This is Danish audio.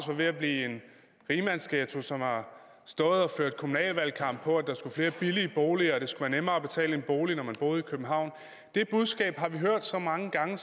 var ved at blive en rigmandsghetto som har stået og ført kommunalvalgkamp på at der skulle flere billige boliger og det skulle være nemmere at betale en bolig når man boede i københavn det budskab har vi hørt så mange gange